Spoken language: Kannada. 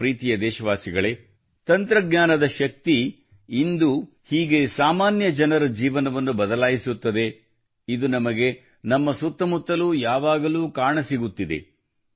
ನನ್ನ ಪ್ರಿತಿಯ ದೇಶವಾಸಿಗಳೇ ತಂತ್ರಜ್ಞಾನದ ಶಕ್ತಿಯು ಇಂದು ಹೀಗೆ ಸಾಮಾನ್ಯ ಜನರ ಜೀವನವನ್ನು ಬದಲಾಯಿಸುತ್ತದೆ ಇದು ನಮಗೆ ನಮ್ಮ ಸುತ್ತಮುತ್ತಲೂ ಯಾವಾಗಲೂ ಕಾಣಸಿಗುತ್ತಿದೆ